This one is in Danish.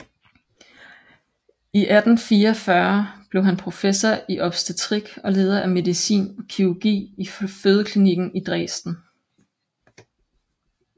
I 1844 blev han professor i obstetrik og leder af medicin og kirurgi i fødeklinikken i Dresen